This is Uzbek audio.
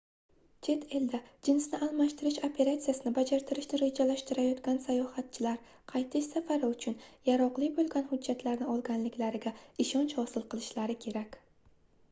chet elda jinsni almashtirish operatsiyasini bajartirishni rejalashtirayotgan sayohatchilar qaytish safari uchun yaroqli boʻlgan hujjatlarni olganliklariga ishonch hosil qilishlari kerak